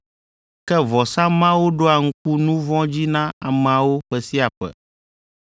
Ke vɔsa mawo ɖoa ŋku nu vɔ̃ dzi na ameawo ƒe sia ƒe,